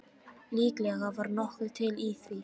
Líklega var nokkuð til í því.